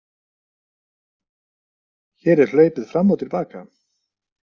Hér er hlaupið fram og til baka.